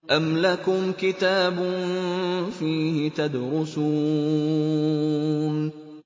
أَمْ لَكُمْ كِتَابٌ فِيهِ تَدْرُسُونَ